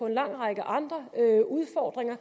en lang række andre udfordringer